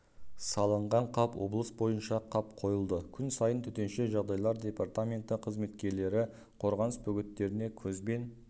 салынған қап облыс бойынша қап қойылды күн сайын төтенше жағдайлар департаменті қызметкерлері қорғаныс бөгеттеріне көзбен